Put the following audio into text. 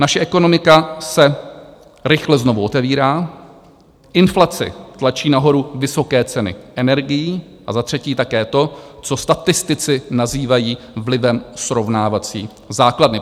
Naše ekonomika se rychle znovu otevírá, inflace tlačí nahoru vysoké ceny energií a za třetí také to, co statistici nazývají vlivem srovnávací základny.